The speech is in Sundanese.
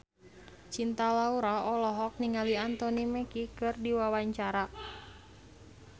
Cinta Laura olohok ningali Anthony Mackie keur diwawancara